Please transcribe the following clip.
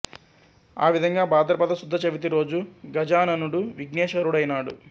ఆ విధంగా భాద్రపద శుద్ధ చవితి రోజు గజాననుడు విఘ్నేశ్వరుడైనాడు